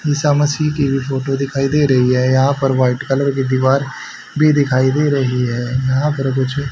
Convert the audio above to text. ईसा मसीह की भी फोटो दिखाई दे रही है यहां पर वाइट कलर की दीवार भी दिखाई दे रही है यहां पर कुछ--